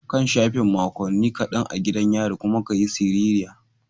Kan shafe makonni kadan a gidan yari kuma ka yi siririya.